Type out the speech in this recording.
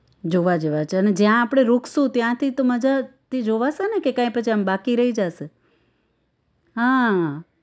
જોવા જેવા છે અને જ્યાં આપણે रुकशु ત્યાંથી તો મજાથી જ જોવાશેને કે કાઈ પછી આમ બાકી રહી જાશે હા